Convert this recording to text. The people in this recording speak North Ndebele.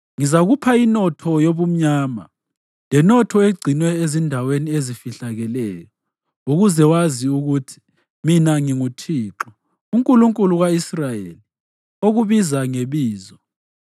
Ngizakupha inotho yobumnyama, lenotho egcinwe ezindaweni ezifihlakeleyo ukuze wazi ukuthi mina nginguThixo, uNkulunkulu ka-Israyeli, okubiza ngebizo.